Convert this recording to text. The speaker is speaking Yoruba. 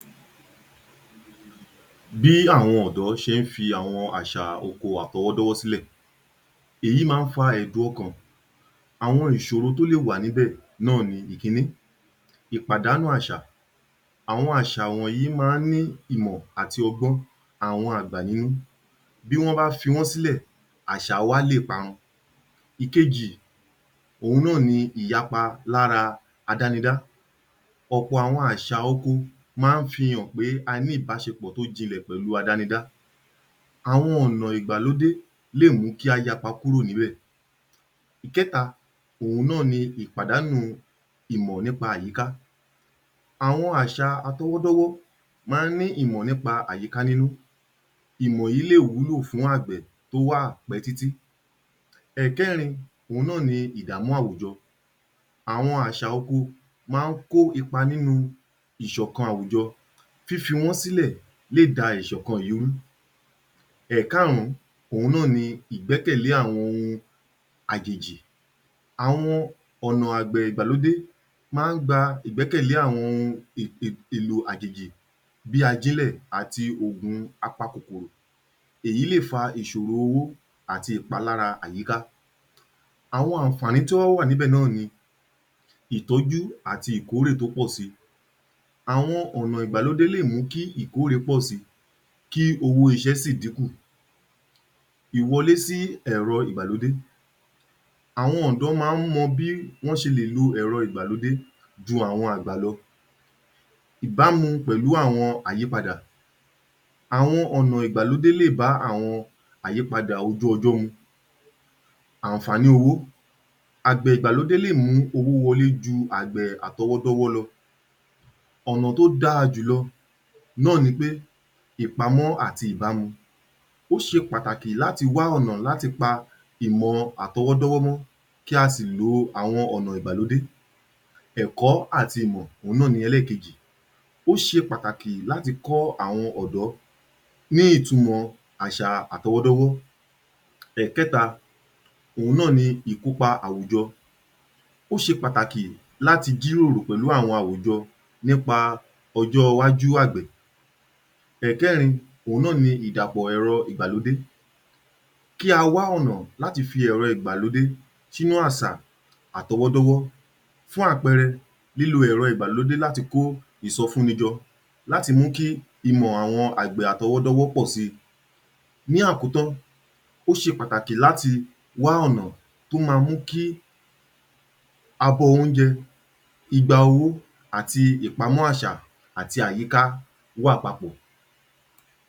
Bí àwọn ọ̀dọ́ ṣe ń fi àwọn àṣà oko àtọwọ́dọ́wọ́ sílẹ̀. Èyí máa ń fa ẹ̀dùn ọkàn. Àwọn ìṣòro tó lè wà níbẹ̀ náà ni, ìkíní, ìpàdánù àṣà. Àwọn àṣà wọ̀nyìí máa ń ní ìmọ̀ àti ọgbọ́n. Àwọn àgbà ní bí wọ́n bá fi wọ́n sílẹ̀, àṣà wa lè parun. Ìkejì, òhun náà ni ìyapa lára adánidá. Ọ̀pọ̀ àwọn àṣà oko máa ń fihàn pé a ní ìbáṣepọ̀ tó jinlẹ̀ pẹ̀lú adánidá. Àwọn ọ̀nà ìgbàlódé lè mú kí a yapa kúrò níbẹ̀. Ìkẹ́ta, òhun náà ni ìpàdánù ìmọ̀ nípa àyíká. Àwọn àṣà àtọwọ́dọ́wọ́ máa ń ní ìmọ̀ nípa àyíká nínú. Ìmọ̀ yìí lè wúlò fún àgbẹ̀ tó wà pẹ́ títí. Ẹ̀ẹ̀kẹ́rin, òhun náà ni ìdàmú àwùjọ. Àwọn àṣà oko máa ń kó ipa nínú ìṣọ̀kan àwùjọ, fífi wọ́n sílẹ̀ lé da ìṣọ̀kan yìí rú. Ẹ̀ẹ̀kárùn-ún, òhun náà ni ìgbẹ́kẹ̀lẹ́ àwọn ohun àjèjì. Àwọn ọ̀nà àgbẹ̀ ìgbàlódé máa ń gba ìgbẹ́kẹ̀lé àwọn ohun èèlò àjèjì bí ajínlẹ̀ àti ògùn apakòkòrò, èyí lè fa ìṣoro owó àti ìpalára àyíká. Àwọn àǹfààní tó wá wà níbẹ̀ náà ni ìtọ́jú àti ìkórè tó pọ̀ si. Awọn ọ̀nà ìgbàlódé lè mú kí ìkórè pọ̀ síi, kí owó iṣẹ́ sì dín kù. Ìwọlé sí ẹ̀rọ ìgbàlódé. Àwọn ọ̀dọ́ máa ń mọ bí wọ́n ṣe lè lo ẹ̀rọ ìgbàlódé ju àwọn àgbà lọ. Ìbámu pẹ̀lú àwọn àyípadà. Àwọn ọ̀nà ìgbàlódé lè bá àwọn àyípadà ojú ọjọ́ mu. Àǹfààní owó, àgbẹ̀ ìgbàlódé lè mú owó wọlé ju àgbà àtọwọ́dọ́wọ́ lọ. Ọ̀nà tó dáa jùlọ náà ni pé ìpamọ́ àti ìbámu, ó ṣe pàtàkì láti wá ọ̀nà láti pa ìmọ̀ àtọwọ́dọ́wọ́ mọ́ kí a sì lo àwọn ọ̀nà ìgbàlódé. Ẹ̀kọ́ àti ìmọ̀, òhun náà ni ẹlẹ́ẹ̀kejì, ó ṣe pàtàkì láti kọ́ àwọn ọ̀dọ́ ní ìtumọ̀ àṣà àtọwọ́dọ́wọ́. Ẹ̀ẹ̀kẹ́ta, òhun náà ni ìkópa àwùjọ. Ó ṣe pàtàkì láti jíròrò pẹ̀lú àwọn àwùjọ nípa ọjọ́ iwájú àgbẹ̀. Ẹ̀ẹ̀kẹ́rin, òhun náà ni ìdàpọ̀ ẹ̀rọ́ ìgbàlódé. Kí a wá ọ̀nà láti fi ẹ̀rọ ìgbàlódé sínú àsà àtọwọ́dọ́wọ́, fún àpẹẹrẹ, lílo ẹ̀rọ ìgbàlódé láti kó ìsọfúnni jọ, láti mú kí ìmọ̀ àwọn àgbẹ̀ àtọwọ́dọ́wọ́ pọ̀ si. Ní àkótán, ó ṣe pàtàkì láti wá ọ̀nà tó ma mú kí abọ́ oúnjẹ, igba owó àti ìpamọ́ àṣà àti àyíká wà papọ̀.